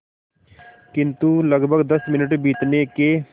किंतु लगभग दस मिनट बीतने के